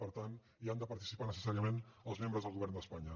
per tant hi han de participar necessàriament els membres del govern d’espanya